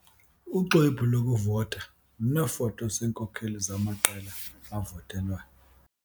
Uxwebhu lokuvota luneefoto zeenkokeli zamaqela avotelwayo.